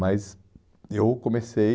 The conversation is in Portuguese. Mas eu comecei